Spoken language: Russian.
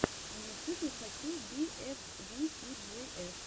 на ютюбе хочу би эф ви си джи эф